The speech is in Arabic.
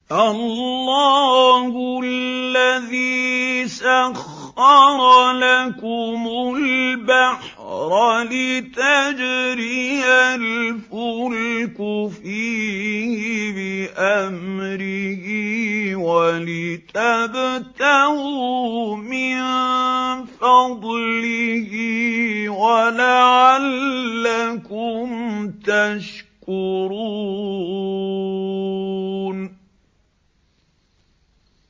۞ اللَّهُ الَّذِي سَخَّرَ لَكُمُ الْبَحْرَ لِتَجْرِيَ الْفُلْكُ فِيهِ بِأَمْرِهِ وَلِتَبْتَغُوا مِن فَضْلِهِ وَلَعَلَّكُمْ تَشْكُرُونَ